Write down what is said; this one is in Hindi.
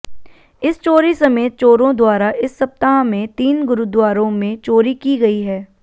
इस चोरी समेत चोरों द्वारा इस सप्ताह में तीन गुरुद्वारों में चोरी की गई है